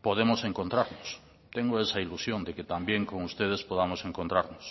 podemos encontrarnos tengo esa ilusión de que también con ustedes podamos encontrarnos